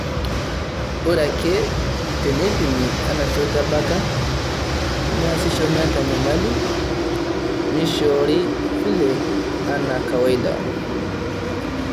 Ore ake teneipimi ena shoto ebeta, neasisho meeta enyamali, neishoori VLE anaa kawaida